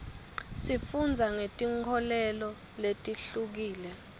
sifundza ngetinkholelo letihlukile